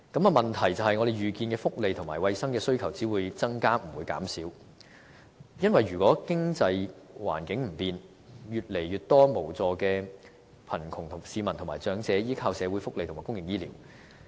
問題是我們預見福利和衞生的需求只會增加，不會減少，因為如果經濟環境不變，只會有越來越多無助的貧窮市民和長者依靠社會福利和公營醫療。